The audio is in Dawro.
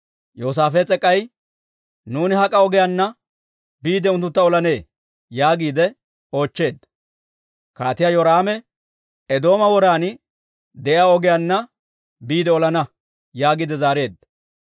Yoosaafees'e k'ay, «Nuuni hak'a ogiyaanna biide unttuntta olanee?» yaagiide oochcheedda. Kaatiyaa Yoraame, «Eedooma woran de'iyaa ogiyaanna biide olana» yaagiide zaareedda.